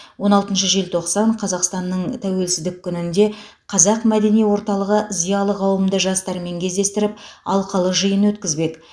он алтыншы желтоқсан қазақстанның тәуелсіздік күнінде қазақ мәдени орталығы зиялы қауымды жастармен кездестіріп алқалы жиын өткізбек